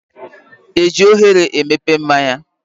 Eji oghere emepe mmáñyá?